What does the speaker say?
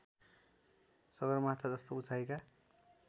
सगरमाथा जस्तो उचाइका